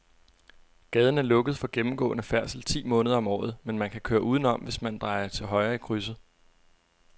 Gaden er lukket for gennemgående færdsel ti måneder om året, men man kan køre udenom, hvis man drejer til højre i krydset.